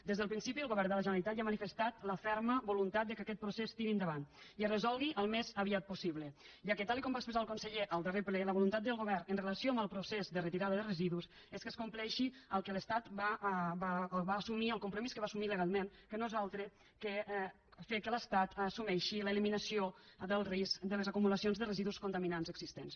des del principi el govern de la generalitat ja ha manifestat la ferma voluntat que aquest procés tiri endavant i es resolgui al més aviat possible ja que tal com va expressar el conseller al darrer ple la voluntat del govern amb relació al procés de retirada de residus és que es compleixi el que l’estat va assumir el compromís que va assumir legalment que no és altre que fer que l’estat assumeixi l’eliminació del risc de les acumulacions de residus contaminants existents